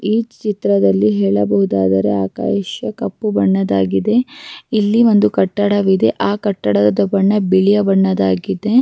ಒಂದು ಫಂಕ್ಷನ್ ಫಂಕ್ಷನಿಗೆ ಗ್ರಾಂಡ್ ಆಗಿ ರೆಡಿ ಮಾಡಿದ್ದಾರೆ.